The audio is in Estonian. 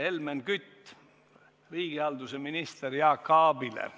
Helmen Küti küsimus riigihalduse minister Jaak Aabile.